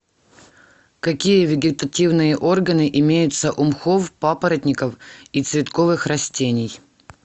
какие вегетативные органы имеются у мхов папоротников и цветковых растений